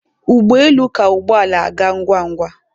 Ụgbọ elu ka ụgbọ ala aga ngwa ngwa